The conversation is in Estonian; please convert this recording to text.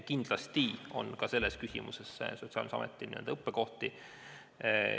Kindlasti on Sotsiaalkindlustusametil ka selles küsimuses n-ö õppekohti.